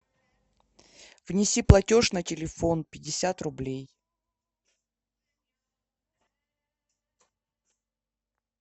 внеси платеж на телефон пятьдесят рублей